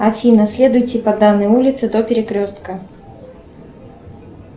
афина следуйте по данной улице до перекрестка